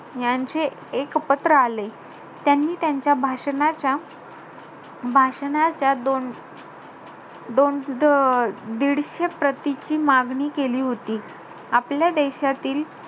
यांचे, एक पत्र आले. त्यांनी त्यांच्या भाषणाच्या~ भाषणाच्या दोन दोन~ अं दीडशे प्रतिची मागणी केली होती. आपल्या देशातील,